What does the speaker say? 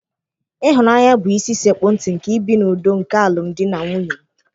Ịhụnanya bụ isi sekpu ntị nke ibi n'udo nke alụm di na nwunye m.